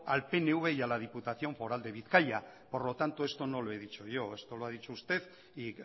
al pnv y a la diputación foral de bizkaia por lo tanto esto no lo he dicho yo esto lo ha dicho usted y